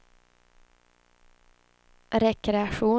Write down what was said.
rekreation